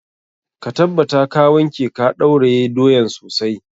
Ka tabbata ka wanke ka ɗauraye doyan sosai.